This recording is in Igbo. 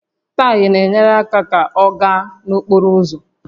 Taya na-enyere àkà ka ọ gaa n'okporo ụzọ